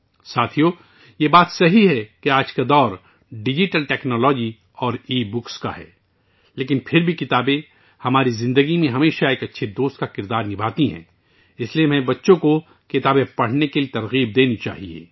دوستو، یہ سچ ہے کہ آج کا دور ڈیجیٹل ٹیکنالوجی اور ای بکس، لیکن پھر بھی کتابیں، ہمیشہ ہماری زندگی میں ایک اچھے دوست کا کردار ادا کرتی ہیں. لہٰذا ہمیں بچوں کو کتابیں پڑھنے کی ترغیب دینی چاہیے